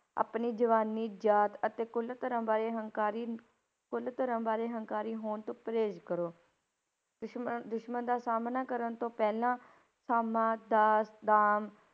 ਆਪਣੀ ਜਵਾਨੀ, ਜਾਤ ਅਤੇ ਕੁੱਲ ਧਰਮ ਬਾਰੇ ਹੰਕਾਰੀ, ਕੁੱਲ ਧਰਮ ਬਾਰੇ ਹੰਕਾਰੀ ਹੋਣ ਤੋਂ ਪਰਹੇਜ ਕਰੋ, ਦੁਸ਼ਮਣ ਦੁਸ਼ਮਣ ਦਾ ਸਾਹਮਣਾ ਕਰਨ ਤੋਂ ਪਹਿਲਾਂ ਸਾਮਾ, ਦਾਸ, ਦਾਮ,